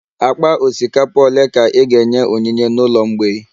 Akpa osikapa ole ka i ga-enye onyinye n'ụlọ mgbei?